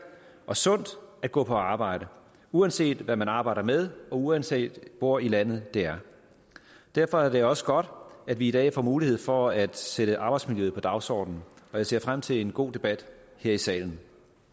og sundt at gå på arbejde uanset hvad man arbejder med og uanset hvor i landet det er derfor er det også godt at vi i dag får mulighed for at sætte arbejdsmiljøet på dagsordenen og jeg ser frem til en god debat her i salen